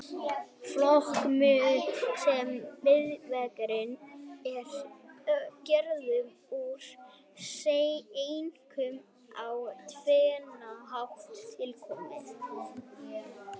Fokið, sem jarðvegurinn er gerður úr, er einkum á tvennan hátt tilkomið.